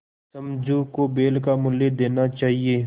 समझू को बैल का मूल्य देना चाहिए